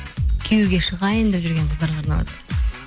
күйеуге шығайын деп жүрген қыздарға арналады